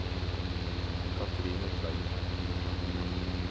Cathrine Tveiten